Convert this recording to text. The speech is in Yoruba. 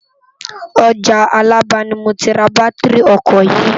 Òjá Alaba ni mó ti rá bàtirí òkò yi